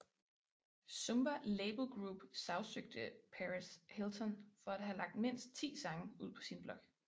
Zomba Label Group sagsøgte Perez Hilton for at have lagt mindst ti sange ud på sin blog